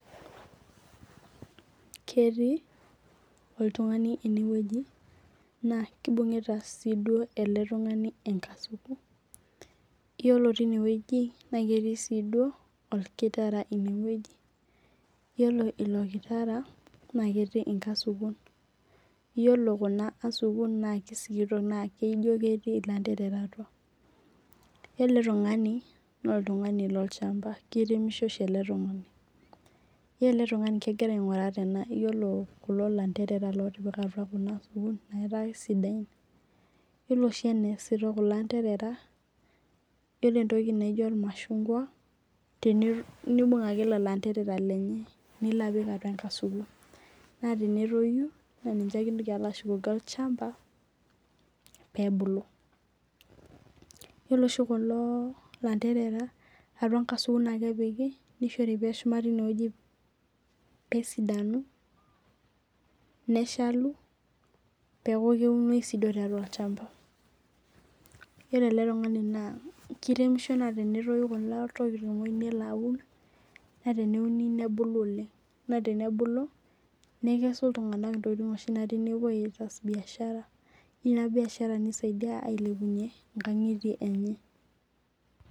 Ketii oltung'ani eneweji, naa kibunguta sii duo ele tung'ani enkasuku. Iyiolo tineweji naa ketii sii duo okitara ineweji. Iyiolo ilo kitara naaa ketii inkasukun. Iyiolo kuna asukun naa kisikitok naa ijo keetii ilanterera atua. Yiolo ele tung'ani naa oltung'ani loo lchamba kiremisho oshi ele tung'ani. Iyiolo ele tung'ani kegira aing'ura tena iyiolo kulo lanterera lotipika atua kuna asukun naa ketaa kisidan. Iyiolo oshii ene asi too kulo anterera iyiolo entoki naijo ormashungwai nibung' ake lelo anterera lenye nilo apik atua enkasuku. Naa tenotoyu naa ninche ake intoki alo ashukoki olchamba pee ebulu. Iyiolo oshi kulo anterera atua nkasukun ake epiki nishori eshuma tineweji pee esidanu neshalu peeku keunoi sii duo tiatua olchamba. Iyiolo ele tung'ani naa kiremisho naa tenetoyu kulo tokitin oyeu nelo aun naa tenebulu nikesu iltung'ana oshi intokitin naatii nepuo aas biashara ina biashara nisaidia ailepunye inkang'itie enye.